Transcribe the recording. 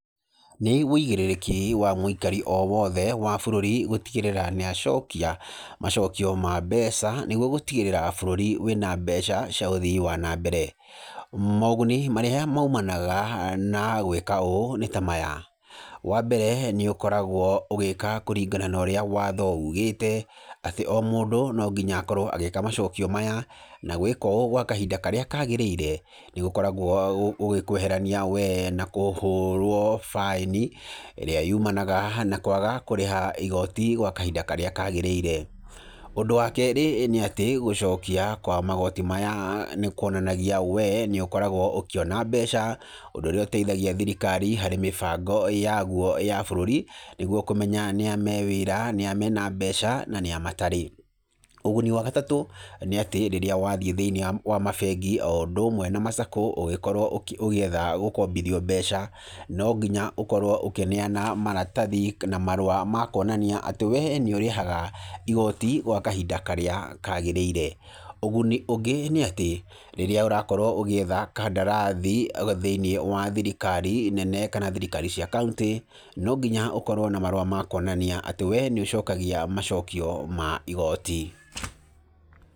Nĩ wĩigĩrĩrĩki wa mũikari o wothe wa bũrũri, gũtigĩrĩra nĩ acokia macokio ma mbeca, nĩguo gũtigĩrĩra bũrũri wĩna mbeca cia ũthii wa nambere, moguni marĩ maimanaga na gwĩka ũũ, nĩ tamaya, wa mbere nĩ ũkoragwo ũgĩka kũringana norĩa watho ugĩte, atĩ o mũndũ no nginya akorwo agĩka macokio maya, na gwĩka ũũ gwa kahinda karĩa kagĩrĩire, nĩ gũkoragwo gũgĩkweherania we na kũhũrwo baĩni, ĩrĩa yumanaga na kwaga kũrĩha igoti gwa kahinda karĩa kagĩrĩire, ũndũ wa kerĩ nĩ atĩ, gũcokia kwa magoti maya, nĩ kuonanagia we nĩ ũkoragwo ũkĩona mbeca, ũndũ ũrĩa ũteithagia thirikari harĩ mĩbango yagwo ya bũrũri nĩguo kũmenya nĩa me wĩra, nĩa mena mbeca, na nĩa matarĩ, ũguni wa gatatũ, nĩ atĩ rĩrĩa wathiĩ thĩinĩ wa ma bengi, o ũndũ ũmwe na ma Sacco ũgĩkorwo ũkĩ ũgĩetha gũkombithio mbeca, no nginya ũkorwo ũkĩneana maratathi, na marũa makuonania atĩ we nĩ ũrĩhaga igoti, gwa kahinda karĩa kagĩrĩire, ũguni ũngĩ nĩ atĩ, rĩrĩa ũrakorwo ũgĩetha kandarathi, thĩinĩ wa thirikari nene, kana thirikari cia kauntĩ, no nginya ũkorwo na marũa makuonania atĩ we nĩ ũcokagia macokia ma igoti.